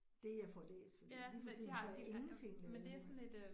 Det får læst fordi lige for tiden får jeg ingenting lavet sådan